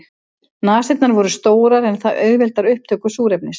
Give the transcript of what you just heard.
Nasirnar voru stórar en það auðveldar upptöku súrefnis.